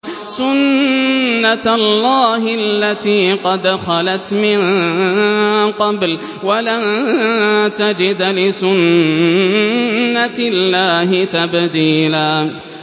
سُنَّةَ اللَّهِ الَّتِي قَدْ خَلَتْ مِن قَبْلُ ۖ وَلَن تَجِدَ لِسُنَّةِ اللَّهِ تَبْدِيلًا